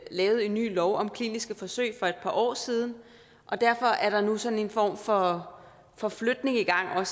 lavet en ny lov om kliniske forsøg for et par år siden og derfor er der nu sådan en form for for flytning i gang